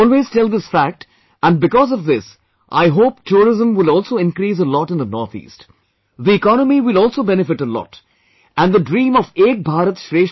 I always tell this fact and because of this I hope Tourism will also increase a lot in the North East; the economy will also benefit a lot and the dream of 'Ek bharat